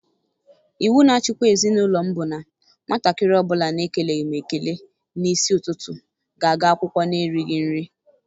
Iwu na-achikwa ezi n'ụlọ m bụ na nwatakịrị ọ bụla nke na-ekeleghị m ekele n'isi ụtụtụ ga-aga akwụkwọ n'erighị nri.